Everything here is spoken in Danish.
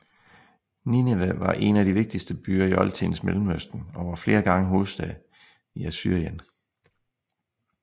Ninive var en af de vigtigste byer i oldtidens Mellemøsten og var flere gange hovedstad i Assyrien